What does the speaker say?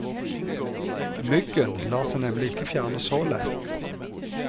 Myggen lar seg nemlig ikke fjerne så lett.